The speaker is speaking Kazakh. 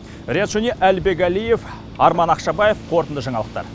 риат шони әлібек әлиев арман ақшабаев қорытынды жаңалықтар